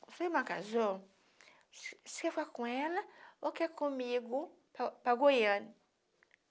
Sua irmã casou, você você quer ficar com ela ou quer ir comigo para para Goiânia?